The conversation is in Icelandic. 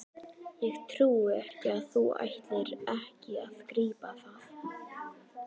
Ég trúi ekki að þú ætlir ekki að grípa það!